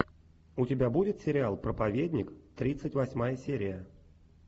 у тебя будет сериал проповедник тридцать восьмая серия